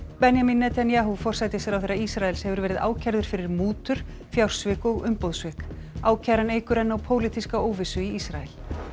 Benjamin Netanyahu forsætisráðherra Ísraels hefur verið ákærður fyrir mútur fjársvik og umboðssvik ákæran eykur enn á pólitíska óvissu í Ísrael